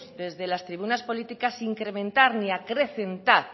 desde las tribunas políticas incrementar ni acrecentar